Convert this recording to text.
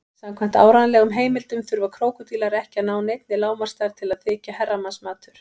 Samkvæmt áreiðanlegum heimildum þurfa krókódílar ekki að ná neinni lágmarksstærð til að þykja herramannsmatur.